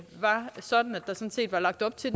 der sådan set var lagt op til